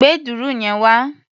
Gbé dùrù yẹn wá!